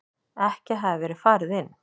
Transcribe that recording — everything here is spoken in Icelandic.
Ekki hafði verið farið inn.